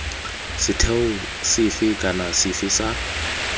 setheo sefe kana sefe sa